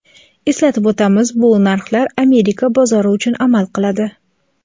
Eslatib o‘tamiz bu narxlar Amerika bozori uchun amal qiladi.